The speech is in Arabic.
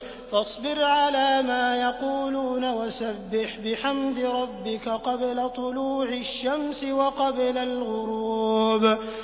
فَاصْبِرْ عَلَىٰ مَا يَقُولُونَ وَسَبِّحْ بِحَمْدِ رَبِّكَ قَبْلَ طُلُوعِ الشَّمْسِ وَقَبْلَ الْغُرُوبِ